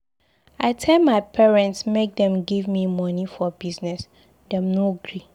I tell my parents make dem give me money for business, dem no gree.